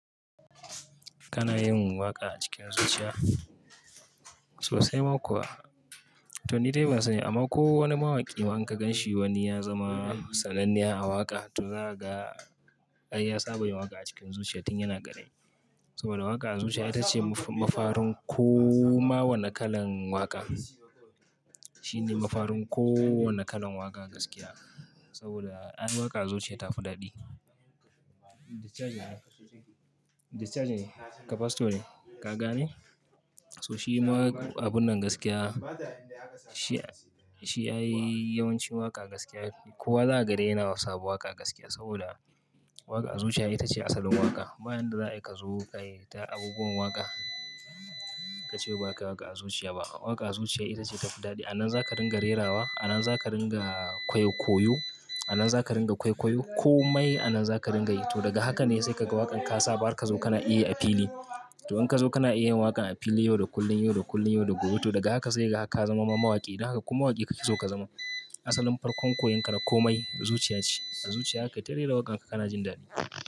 Kana yin waƙa a cikin zuciya sosai ma kuwa. To ni dai ban sani ba ko wani mawaƙi in ma ka gan shi wani ya zama sananne a waƙa, to za ka ga ya saba yin waƙa a cikin zuciya tun yana karami. Saboda waƙa a zuciya ita ce mafarin ko ma wanne kalan waƙa. Shi ne mafarin kowanne kalan waƙa gaskiya. Saboda ai yin waƙa a zuciya ta fi daɗi. Discharge ne, capacitor ne, ka ga ne? So shi ma abun nan gaskiya, shi ai yawancin waƙa gaskiya. Kowa zaka ga de yana sabon waƙa gaskiya saboda waƙa a zuciya ita ce asalin waƙa. Ba yadda za ayi ka zo ka yi ta abubuwan waƙa, ka ce ba ka waƙa a zuciya ba. Waƙa a zuciya ita ce ta fi daɗi. Anan za ka ringa rerawa, anan za ka ringa koyo, anan za ka ringa kwaikwayo komai anan za ka ringa yi. To daga haka ne sai ka ga waƙarka ka saba har ka zo kana iya yi a fili. To in ka zo kana iya yin waƙan a fili yau da kullum, yau da kullum, yau da gobe. To daga haka sai kaga har ka zama ma mawaƙi. Da haka ko waƙi kake so ka zama. Asalin farkon koyon ka na komai zuciya ce. A zuciya za kai ta rera waƙa kana jin daɗi.